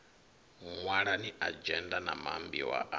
ṅwalani adzhenda na maambiwa a